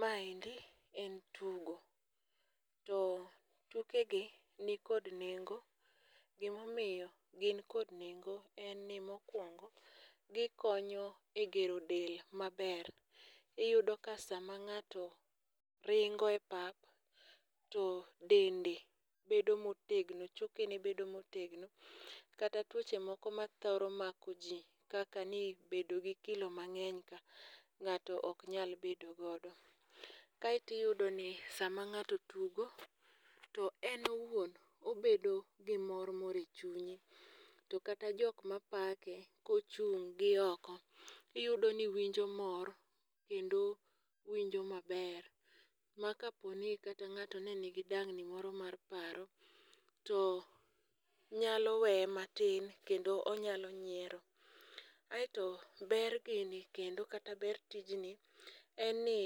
Maendi en tugo. To tukegi ni kod nengo. Gimomiyo gin kod nengo en ni mokuongo gi konyo e gero del maber. Iyudo ka sa mang'ato ringo e pap to dendi bedo motegno choke ni bedo motegno. Kata twoche moko mathoro mako ji kaka ni bedo gi kilo mang'eny ka ng'ato oknyal bedo godo. Kaeto iyudo ni sama ng'ato tugo to en owuon obedo gimor moro echunye. To kata jok mapake, kochung' gi oko. Iyudo ni winjo mor kendo winjo maber. Makapo ni kata ng'ato ne nidang'ni moro mar paro to nyalo weye matin kendo onyalo niero. Aeto ber gini kendo kata ber tijni, en ni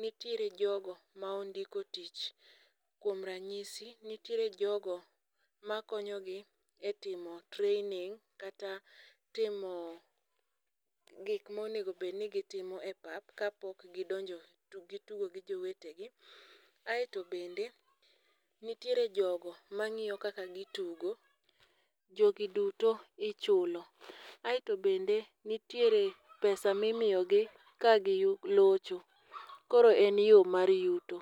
nitiere jogo maondiko tich kuom ranyisi, nitiere jogo makonyogi etimo training kata timoo gik ma onego bed ni gitimo e pap kapok gidonjo to gitugo gi jowetegi. Aeto bende nitiere jogo mang'iyo kaka gitugo jogiduto ichulo. Aeto bende nitiere pesa mimiyogi ka giyudo locho koro en yo mar yuto.